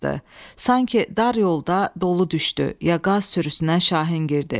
Sanki dar yolda dolu düşdü, ya qaz sürüsünə Şahin girdi.